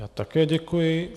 Já také děkuji.